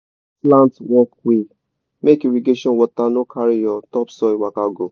fix slant walkway make irrigation water no carry your topsoil waka go